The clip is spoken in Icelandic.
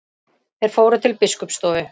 Þeir fóru til biskupsstofu.